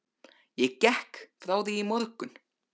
Ég gekk frá því í morgun.